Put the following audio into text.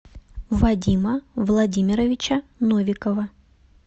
вадима владимировича новикова